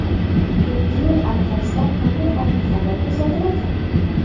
Yangi yil arafasida qanday ob-havo kuzatiladi?.